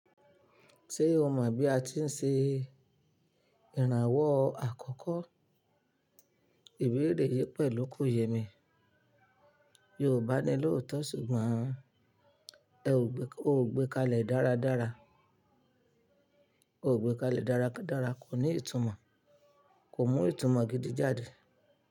Ṣé o mọ bí a ti ń ṣe ìrànwọ́ àkọ́kọ́? Ìbéèrè yìí pẹ̀lú kò yẹ mi. Yorùbá ni lóòótọ́ sùgbọ́n o ò gbé kalẹ̀ dáradára, kò ní ìtumọ̀, kò mú ìtumọ̀ gidi jáde.